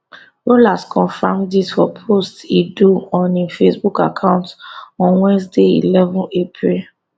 rollas confam dis for post e do on im facebook account on wednesday eleven april